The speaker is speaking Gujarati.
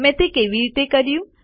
મેં તે કેવી રીતે કર્યું